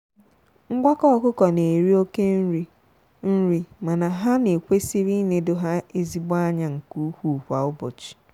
ngwakọ ọkụkọ na-eri oke nri nri mana ha na ekwesiri ịnedo ha ezigbo anya nke ụkwụ kwa ụbọchị.